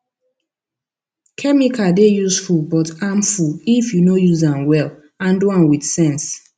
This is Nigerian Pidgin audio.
chemical dey useful but harmful if you no use am wellhandle am with sense